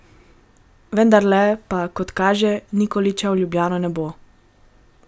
Vendarle pa, kot kaže, Nikolića v Ljubljano ne bo.